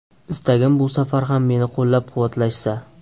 Istagim, bu safar ham meni qo‘llab-quvvatlashsa.